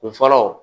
O fɔlɔ